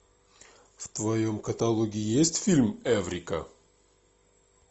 в твоем каталоге есть фильм эврика